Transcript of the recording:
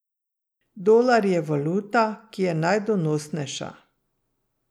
Dolar je valuta, ki je najdonosnejša.